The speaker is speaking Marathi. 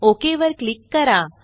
ओक वर क्लिक करा